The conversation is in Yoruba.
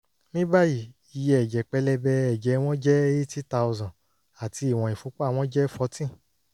ní báyìí iye ẹ̀jẹ̀ pẹlẹbẹ ẹ̀jẹ̀ wọn jẹ́ 80000 àti ìwọ̀n ìfúnpá wọn jẹ́ fourteen